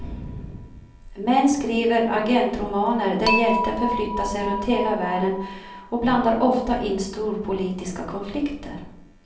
Män skriver agentromaner där hjälten förflyttar sig runt hela världen och blandar ofta in storpolitiska konflikter.